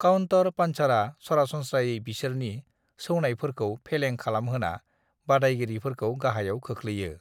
Counter पंचरा सरासनस्रायै बिसोरनि सौनायफोरखौ फेलें खालामहोना बादायगिरिफोरखौ गाहायाव खोख्लैयो।